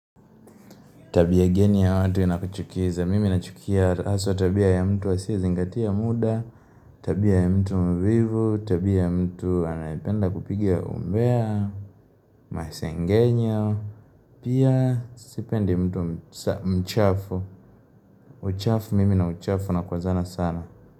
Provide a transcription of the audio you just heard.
Tabia geni ya watu inakuchukiza, mimi nachukia haswa tabia ya mtu asiyezingatia muda, tabia ya mtu mvivu, tabia ya mtu anapenda kupigia umbea, masengenyo, pia sipendi mtu mchafu, uchafu mimi na uchafu na kwa zana sana.